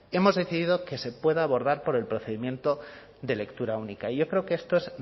hemos decidido que se pueda abordar por el procedimiento de lectura única y yo creo que esto es